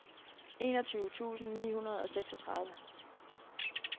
enogtyve tusind ni hundrede og seksogtredive